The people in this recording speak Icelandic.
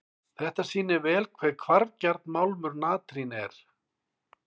Þetta sýnir vel hve hvarfgjarn málmur natrín er.